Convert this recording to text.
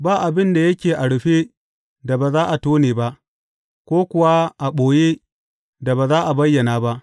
Ba abin da yake a rufe da ba za a tone ba, ko kuwa a ɓoye da ba za a bayyana ba.